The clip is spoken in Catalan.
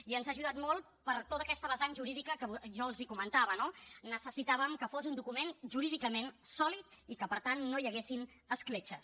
i ens ha ajudat molt per tot aquest vessant jurídic que jo els comentava no necessitàvem que fos un document jurídicament sòlid i que per tant no hi haguessin escletxes